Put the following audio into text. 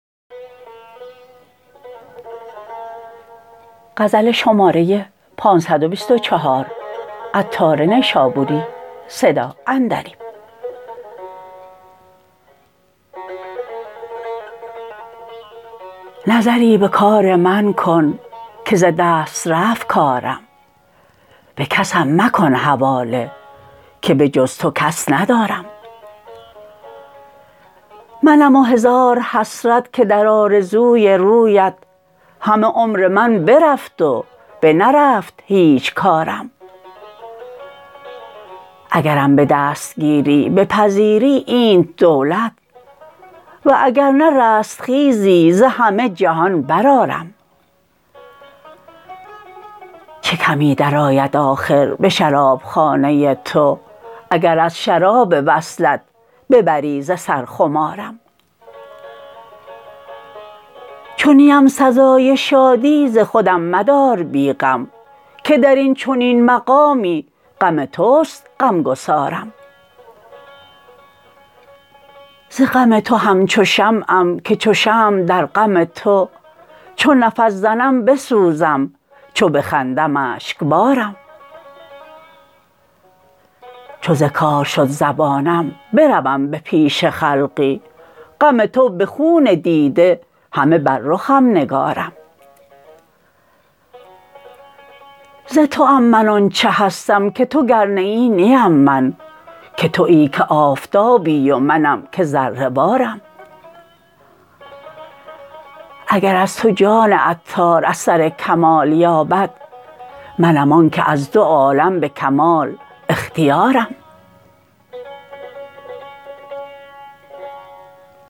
نظری به کار من کن که ز دست رفت کارم به کسم مکن حواله که به جز تو کس ندارم منم و هزار حسرت که در آرزوی رویت همه عمر من برفت و بنرفت هیچ کارم اگرم به دستگیری بپذیری اینت منت واگر نه رستخیزی ز همه جهان برآرم چه کمی درآید آخر به شرابخانه تو اگر از شراب وصلت ببری ز سر خمارم چو نیم سزای شادی ز خودم مدار بی غم که درین چنین مقامی غم توست غمگسارم ز غم تو همچو شمعم که چو شمع در غم تو چو نفس زنم بسوزم چو بخندم اشکبارم چو ز کار شد زبانم بروم به پیش خلقی غم تو به خون دیده همه بر رخم نگارم ز توام من آنچه هستم که تو گر نه ای نیم من که تویی که آفتابی و منم که ذره وارم اگر از تو جان عطار اثر کمال یابد منم آنکه از دو عالم به کمال اختیارم